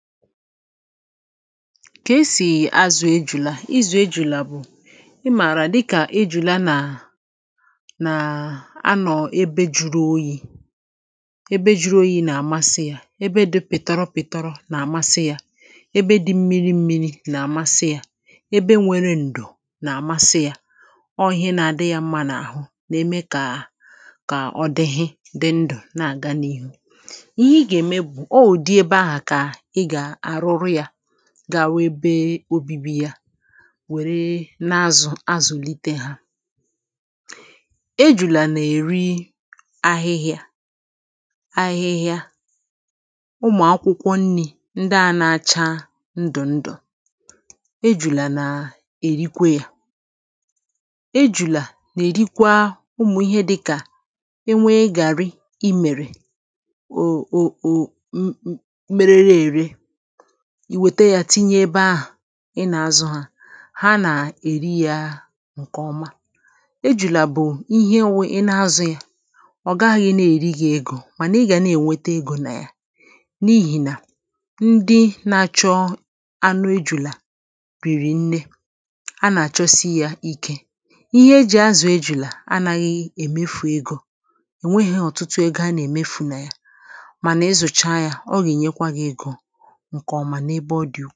ka esì azụ̀ ejùla, ịzụ̀ ejùla bụ̀ ị mààrà dịkà ijùla nà nàà a nọ̀ ebe jụrụ oyi ebe jụrụ oyi nà-àmasị yȧ ebe dị pị̀tara pị̀tara nà-àmasị yȧ ebe dị mmiri mmiri nà-àmasị yȧ ebe nwere ǹdò nà-àmasị yȧ ọ ihe na-adị yȧ ma n’àhụ nà-ème kà kà ọ dịghị dị ndụ̀ na-àga n’ihu ga-webe obibi ya wère na-azụ azụ̀lite ha ejùlà nà-èri ahịhịa ahịhịa ụmụ̀ akwụkwọ nni̇ ndị a na-acha ndụ̀ ndụ̀ ejùlà nà-èrikwe ya ejùlà nà-èrikwa ụmụ̀ ihe dịkà e nwee gàrị imèrè o o o merere ère ìwèta yȧ tinye ebe ahụ̀ ị nà-azụ̇ hȧ ha nà-èri yȧ ǹkè ọma ejùlà bụ̀ ihe na-azụ̇ yȧ ọ̀ gaghị̇ nà-èri yȧ egȯ mànà ị gà na-ènwete egȯ nà ya n’ihì nà ndị na-chọ anụ ejùlà pìrì nne a nà-àchọsi yȧ ike ihe e jì azụ̀ ejùlà anaghị̇ èmefu egȯ ènweghi ọ̀tụtụ ego a nà-èmefu nà ya mànà ezùcha yȧ ọghị̀ nyekwa gị̇ egȯ kà ọma n’ebe ọ dị̀ụ̀.